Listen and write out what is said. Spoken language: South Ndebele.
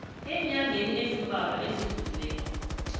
eenyangeni ezimbalwa ezidlulileko